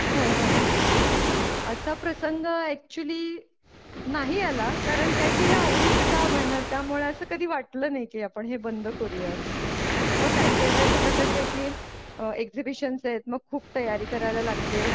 हो हो असा प्रसंग एक्चुअल नाही आला कारण काय की हे आवडीचं काम आहे ना त्यामुळे असं कधी वाटलं नाही की आपण हे बंद करूयात म्हणून काय काय कसं आहे की अ एक्झिबिशन्स आहेत मग खूप तयारी करायला लागते.